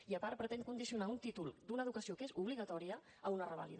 i a part pretén condicionar un títol d’una educació que és obligatòria a una revàlida